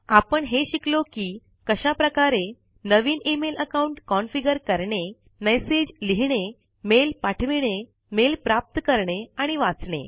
आपण हे शिकलो कि कशा प्रकारे नवीन ईमेल अकाउंट कॉन्फीगर करणे मैसेज लिहिणे मेल पाठविणे मेल प्राप्त करणे आणि वाचणे